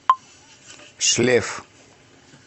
шлеф